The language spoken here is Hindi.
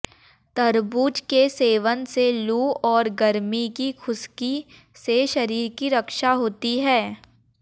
तरबूज के सेवन से लू और गर्मी की खुश्की से शरीर की रक्षा होती है